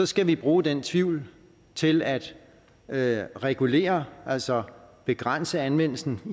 skal vi bruge den tvivl til at at regulere altså begrænse anvendelsen